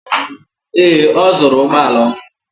Ee, ọ zụrụ ụgbọ ala ọhụrụ.